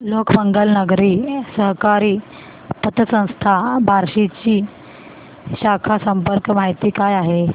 लोकमंगल नागरी सहकारी पतसंस्था बार्शी ची शाखा संपर्क माहिती काय आहे